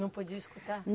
Não podia escutar?